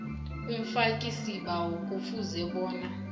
umfakisibawo kufuze bona